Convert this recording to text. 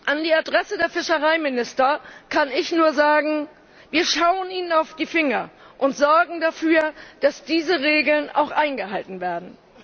An die Adresse der Fischereiminister kann ich nur sagen Wir schauen Ihnen auf die Finger und sorgen dafür, dass diese Regeln auch eingehalten werden.